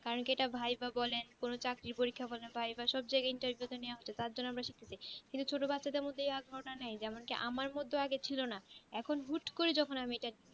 কারণ কি এটা ভাই বা বলে কোনো চাকরি পরীক্ষা বলে সব জায়গায় ভাই বা সবজায়গায় interview এ নেওয়া হোত তার জন্য আমরা শক্তিকে কিন্তু চট বাচ্চাদের মধ্যে এই আগ্রহ টা নেই যেমন কি আমার মধ্যে আগে ছিলো না এখন হুট করে যখন আমি ইটা